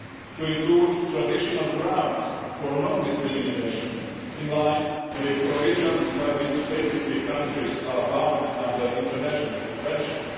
to include traditional grounds for non discrimination, in line with provisions by which ACP countries are bound under international conventions.